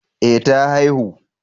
Eh ta haihu